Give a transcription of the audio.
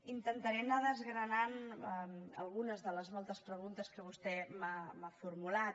intentaré anar desgranant algunes de les moltes preguntes que vostè m’ha formulat